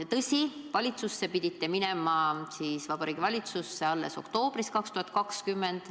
Tõsi, valitsusse pidite minema alles oktoobris 2020.